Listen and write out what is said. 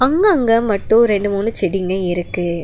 அங்கங்க மட்டு ரெண்டு மூணு செடிங்க இருக்கு.